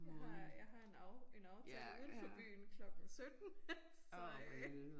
Jeg har jeg har en en aftale udenfor byen klokken 17 så øh